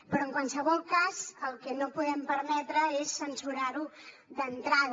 però en qualsevol cas el que no podem permetre és censurar ho d’entrada